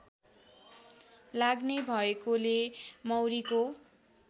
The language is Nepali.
लाग्ने भएकोले मौरीको